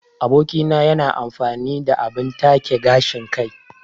Aboki na yana amfani da abin take gashin kai.